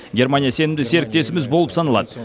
германия сенімді серіктесіміз болып саналады